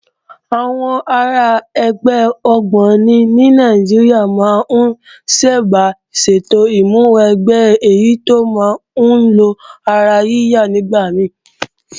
Àwọn ará ẹgbẹ́ ògbóni ní Nàìjíríà máa ń sábà ṣètò ìmúwẹgbẹ́ èyí tó máa ń nílò ara yíya nígbà mí